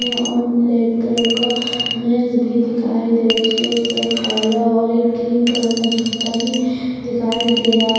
और black colour का मेज भी दिखाई दे उसके उस तरफ काला और एक क्रीम कलर का जूता भी दिखाई दे रहा--